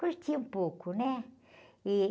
Curti um pouco, né? E...